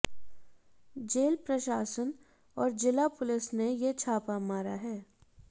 jail प्रशासन और जिला पुलिस ने ये छापा मारा है